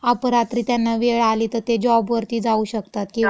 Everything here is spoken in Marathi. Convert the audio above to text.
अपरात्री त्यांना वेळ आली तं ते जॉबवरती जाऊ शकतात किंवा.